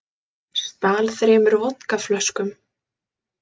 Stal þremur vodkaflöskum